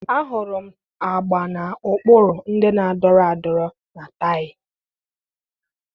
Ahụrụ m agba na ụkpụrụ ndị na-adọrọ adọrọ na taayị.